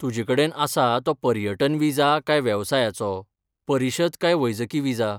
तुजे कडेन आसा तो पर्यटन विजा काय वेवसायाचो, परिशद काय वैजकी विजा?